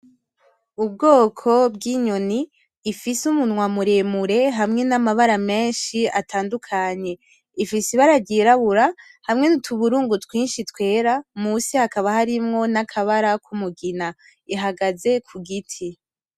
Ubwoko bwinyoni ifise umunwa muremure hamwe namabara menshi atandukanye ,ifise ibara ryirabura hamwe nutuburungu twinshi twera munsi hakaba harimwo nakabara kumugina ihagaze kugiti.